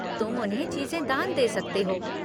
तुम उन्हें चीज़ें दान दे सकते हो।